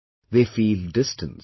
They feel distanced